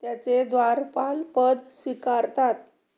त्याचे द्वारपालपद स्वीकारतात